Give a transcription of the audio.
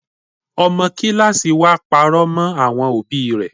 Ọmọ kíláàsì wa parọ́ mọ́ àwọn òbí rẹ.